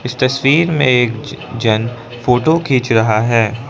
इस तस्वीर में एक जन फोटो खींच रहा है।